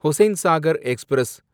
Hussain Sagar express